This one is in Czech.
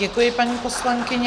Děkuji, paní poslankyně.